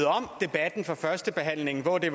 om debatten fra førstebehandlingen hvor det